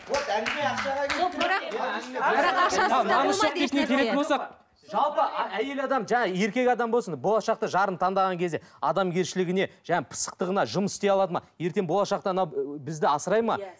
жалпы әйел адам еркек адам болсын болашақта жарын таңдаған кезде адамгершілігіне жаңағы пысықтығына жұмыс істей алады ма ертең болашақта ана бізді асырайды ма